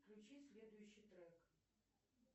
включи следующий трек